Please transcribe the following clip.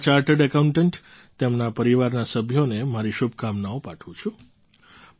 હું આ બધા ચાર્ટર્ડ એકાઉન્ટન્ટ તેમના પરિવારના સભ્યોને મારી શુભકામનાઓ પાઠવું છું